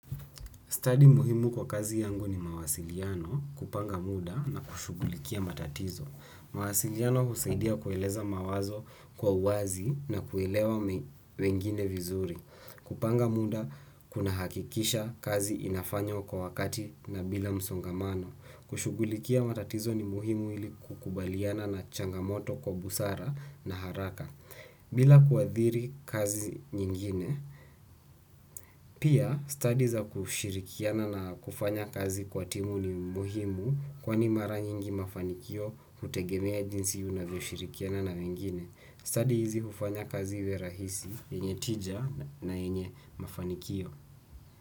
Study muhimu kwa kazi yangu ni mawasiliano kupanga muda na kushugulikia matatizo. Mawasiliano husaidia kueleza mawazo kwa uwazi na kuelewa wengine vizuri. Kupanga muda kuna hakikisha kazi inafanywa kwa wakati na bila msongamano. Kushugulikia matatizo ni muhimu ili kukubaliana na changamoto kwa busara na haraka. Bila kuadhiri kazi nyingine, pia study za kushirikiana na kufanya kazi kwa timu ni muhimu kwa ni mara nyingi mafanikio hutegemea jinsi unavyo shirikiana na wengine. Study hizi ufanya kazi iwe rahisi, yenye tija na yenye mafanikio.